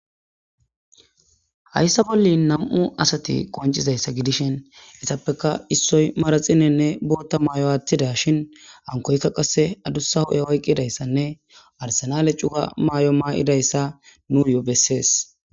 Hayssa bolli nam7u asti qonccizayssa gidishin issoy bootta mayonne manaxxire woththishin hankoyikka qasse adussa hu7e oykkidayssanne arsinaale cuga mayo mayidayssa nuyyo bessees.